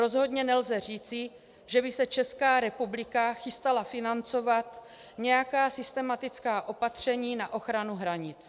Rozhodně nelze říci, že by se Česká republika chystala financovat nějaká systematická opatření na ochranu hranic.